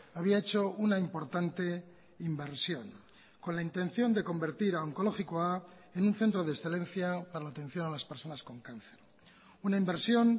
había hecho una importante inversión con la intención de convertir a onkologikoa en un centro de excelencia para la atención a las personas con cáncer una inversión